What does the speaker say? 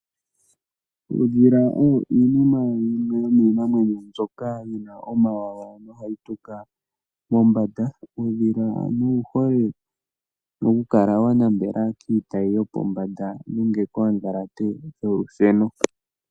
Uudhila owo wumwe womiinamwenyo mbyoka yina omawawa nohayi tuka mombanda. Uudhila ano owuhole oku kala wanambela kiitayi yopombanda nenge kodhalate dholusheno.